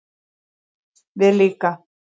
Við líka